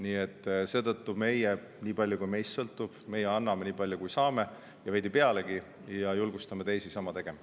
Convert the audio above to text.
Nii et seetõttu meie, nii palju kui meist sõltub, anname talle nii palju, kui saame, ja veidi pealegi, ning julgustame teisi sama tegema.